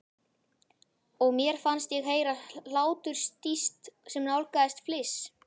Og mér fannst ég heyra hláturstíst sem nálgaðist fliss.